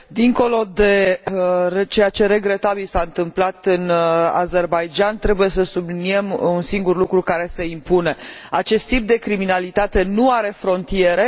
Dincolo de ceea ce regretabil s a întâmplat în Azerbaidjan, trebuie să subliniem un singur lucru care se impune acest tip de criminalitate nu are frontiere.